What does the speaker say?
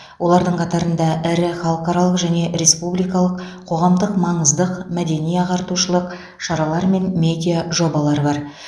олардың қатарында ірі халықаралық және республикалық қоғамдық маңыздық мәдени ағартушылық шаралар мен медиа жобалар бар